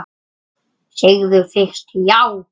Segðu fyrst já!